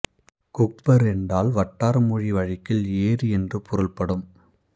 குஃபர் என்றால் வட்டார மொழி வழக்கில் ஏரி என்று பொருள்படும்